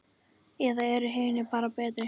Eða eru hinir bara betri?